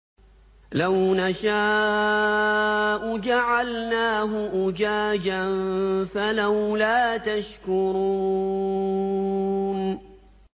لَوْ نَشَاءُ جَعَلْنَاهُ أُجَاجًا فَلَوْلَا تَشْكُرُونَ